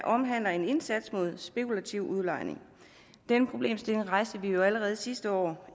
omhandler en indsats imod spekulativ udlejning denne problemstilling rejste vi jo allerede sidste år